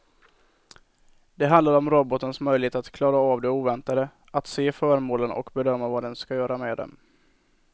Det handlar om robotens möjlighet att klara av det oväntade, att se föremålen och bedöma vad den ska göra med dem.